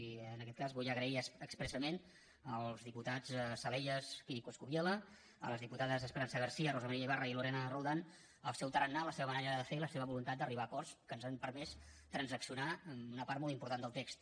i en aquest cas vull agrair expressament als diputats salellas i coscubiela a les diputades esperanza garcía rosa maria ibarra i lorena roldán el seu tarannà la seva manera de fer i la seva voluntat d’arribar a acords que ens han permès transaccionar una part molt important del text